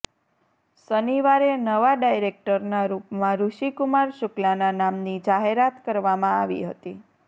શનિવારે નવા ડાયરેક્ટરના રૂપમાં ઋષિ કુમાર શુક્લાના નામની જાહેરાત કરવામાં આવી હતી